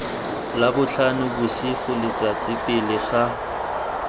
labotlhano bosigo letsatsi pele ga